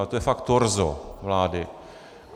Ale to je fakt torzo vlády.